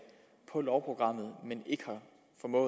på lovprogrammet men i